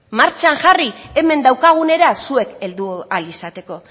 martxan jarri hemen daukagunera zuek heldu ahal izateko